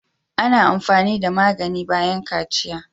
Ana amfani da magani bayan kaciya.